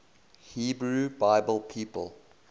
hebrew bible people